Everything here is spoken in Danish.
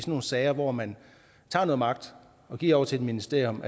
nogle sager hvor man tager noget magt og giver over til et ministerium